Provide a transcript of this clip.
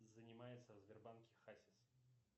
занимается в сбербанке хасис